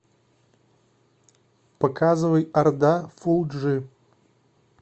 показывай орда фул джи